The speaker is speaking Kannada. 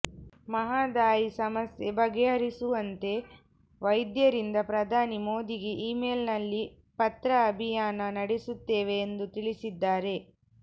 ಮಹದಾಯಿ ಸಮಸ್ಯೆ ಬಗೆಹರಿಸುವಂತೆ ವೈದ್ಯರಿಂದ ಪ್ರಧಾನಿ ಮೋದಿಗೆ ಇಮೇಲ್ ನಲ್ಲಿ ಪತ್ರ ಅಭಿಯಾನ ನಡೆಸುತ್ತೇವೆ ಎಂದು ತಿಳಿಸಿದ್ದಾರೆ